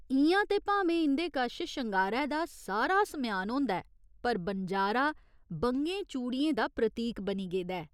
इ'यां ते भामें इं'दे कश शंगारै दा सारा समेआन होंदा ऐ पर बनजारा बंगें चूड़ियें दा प्रतीक बनी गेदा ऐ।